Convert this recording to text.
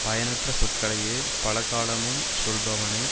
பயனற்ற சொற்களையே பலகாலமும் சொல்பவனை